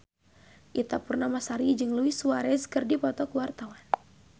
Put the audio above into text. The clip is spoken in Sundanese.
Ita Purnamasari jeung Luis Suarez keur dipoto ku wartawan